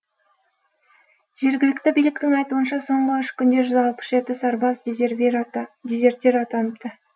жергілікті биліктің айтуынша соңғы үш күнде жүзалпыс жеті сарбаз дезертир атаныпты